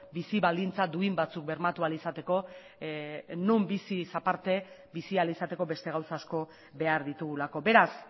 bizi baldintza duin batzuk bermatu ahal izateko non biziz aparte bizi ahal izateko beste gauza asko behar ditugulako beraz